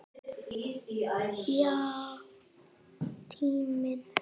Já, tíminn.